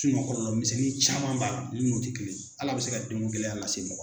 kɔlɔlɔ misɛnnin caman ba min no tɛ kelen ye, hali a bɛ se ka den ko gɛlɛya lase mɔgɔ.